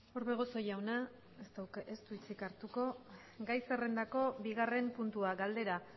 orbegozo jauna ez du hitzik hartuko gai zerrrendako bigarren puntua galdera